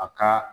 A ka